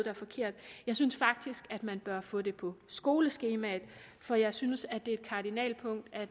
er forkert jeg synes faktisk at man bør få det på skoleskemaet for jeg synes at det er et kardinalpunkt at